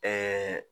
Ɛɛ